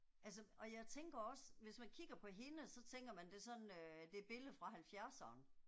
Altså og jeg tænker også, hvis man kigger på hende, så tænker man det sådan øh det et billede fra halvfjerdserne